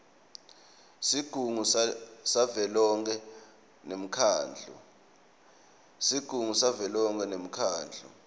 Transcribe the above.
sigungu savelonkhe nemkhandlu